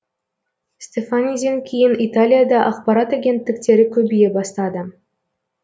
стефаниден кейін италияда ақпарат агенттіктері көбейе бастады